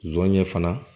Zon ye fana